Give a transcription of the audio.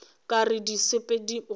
ka re di sepela godimo